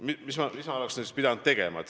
Mis ma oleks siis pidanud nüüd tegema?